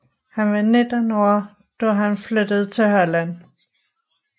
Han var 19 år da han flyttede til Holland